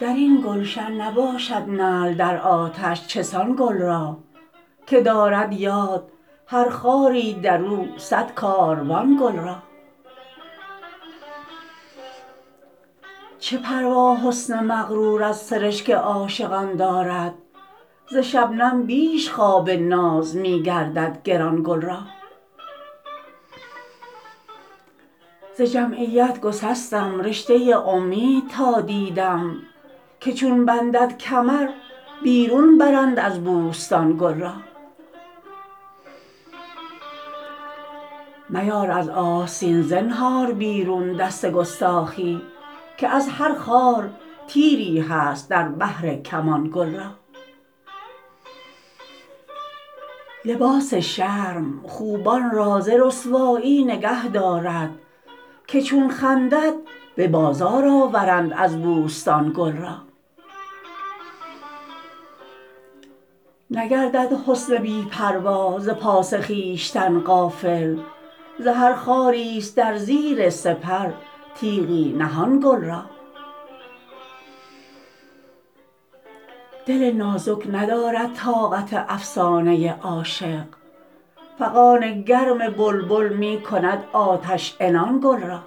درین گلشن نباشد نعل در آتش چسان گل را که دارد یاد هر خاری در او صد کاروان گل را چه پروا حسن مغرور از سرشک عاشقان دارد ز شنبم بیش خواب ناز می گردد گران گل را ز جمعیت گسستم رشته امید تا دیدم که چون بندد کمر بیرون برند از بوستان گل را میار از آستین زنهار بیرون دست گستاخی که از هر خار تیری هست در بحر کمان گل را لباس شرم خوبان را ز رسوایی نگه دارد که چون خندد به بازار آورند از بوستان گل را نگردد حسن بی پروا ز پاس خویشتن غافل ز هر خاری است در زیر سپر تیغی نهان گل را دل نازک ندارد طاقت افسانه عاشق فغان گرم بلبل می کند آتش عنان گل را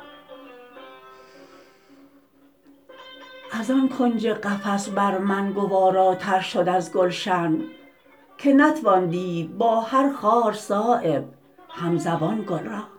ازان کنج قفس بر من گواراتر شد از گلشن که نتوان دید با هر خار صایب همزبان گل را